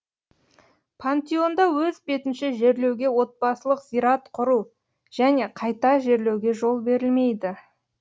пантеонда өз бетінше жерлеуге отбасылық зират құру және қайта жерлеуге жол берілмейді